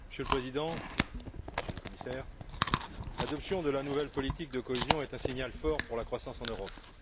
Monsieur le Président, Monsieur le Commissaire, l'adoption de la nouvelle politique de cohésion est un signal fort pour la croissance en Europe.